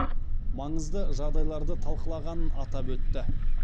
маңызды жағдайларды талқылағанын атап өтті